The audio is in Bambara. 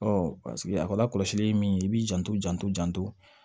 paseke a ka lakɔlɔsili ye min ye i b'i janto janto janto